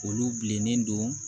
Olu bilennen don